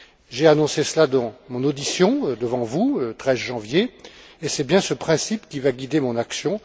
J'ai annoncé cela dans mon audition, devant vous, le 13 janvier, et c'est bien ce principe qui va guider mon action.